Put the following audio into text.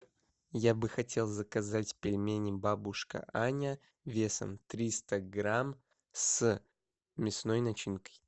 я бы хотел заказать пельмени бабушка аня весом триста грамм с мясной начинкой